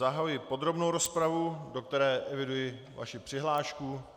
Zahajuji podrobnou rozpravu, do které eviduji vaši přihlášku.